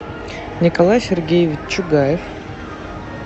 николай сергеевич чугаев